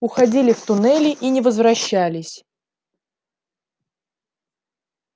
уходили в туннели и не возвращались